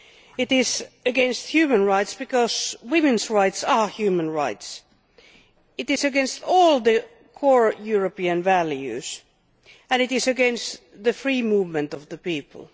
It is against human rights, because women's rights are human rights. It is against all the core European values, and it is against the free movement of people.